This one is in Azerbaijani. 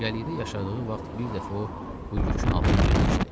Cəngəllikdə yaşadığı vaxt bir dəfə o bu yükün altına girmişdi.